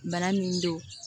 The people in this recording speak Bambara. Bana min don